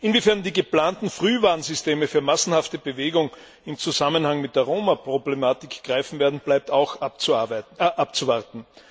Inwiefern die geplanten Frühwarnsysteme für massenhafte Bewegung im Zusammenhang mit der Roma Problematik greifen werden, bleibt auch abzuwarten.